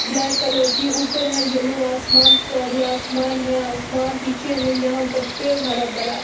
black colour की ऊपर है येलो आसमान सारी आसमान नीचे है यहां पेड़ हरा भरा--